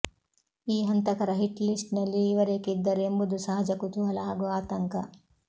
ಈ ಹಂತಕರ hit list ನಲ್ಲಿ ಇವರೇಕೆ ಇದ್ದರು ಎಂಬುದು ಸಹಜ ಕುತೂಹಲ ಹಾಗೂ ಆತಂಕ